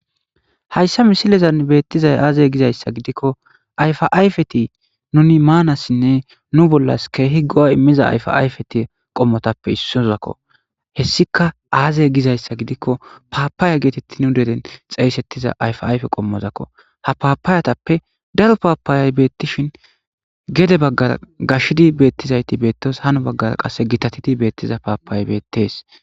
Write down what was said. hayssa misilizan beettizay aazey gizayssa gidikko ayfaayfeti nuni maanassinne nu bollas keehi go7a immiza ayfaayfeti qommotappe issozakko hessika aazey gizayssa gidikko paapaaya geetetti nu deren xeeysettiza ayfaayfe qommozakko ha paapaayatappe daro paapaayay beettishin gede baggar gashidi beettizayti beettos hano baggar qasse gitatidi beettiza paapayay beettees